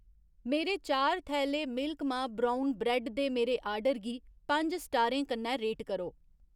मेरे चार थैले मिल्क मा ब्रउन ब्रैड्ड दे मेरे आर्डर गी पंज स्टारें कन्नै रेट करो